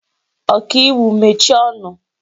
Ọkaiwu mechie ọnụ!